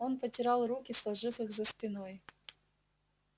он потирал руки сложив их за спиной